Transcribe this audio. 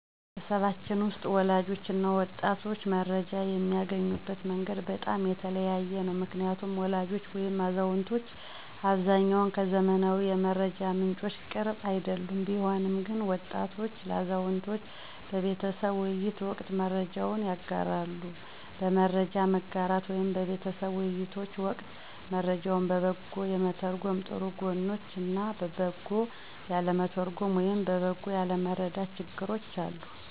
ቤተሰባችን ውስጥ ወላጆች እና ወጣቶች መረጃ የሚያገኙበት መንገድ በጣም የተለያየ ነው። ምክንያቱም ወላጆች ወይም አዛውንቶች በአብዛኛው ከዘመናዊ የመረጃ ምንጮች ቅርብ አይደሉም። ቢሆንም ግን ወጣቶች ለአዛውንቶች በቤተሰብ ውይይት ወቅት መረጃዎችን ያጋራሉ። በመረጃ መጋራት ወይም በቤተሰብ ውይይቶች ወቅት መረጃውን በበጎ የመተርጎም ጥሩ ጎኖች እና በበጎ ያለመተርጎም ወይም በበጎ ያለመረዳት ችግሮች አሉ።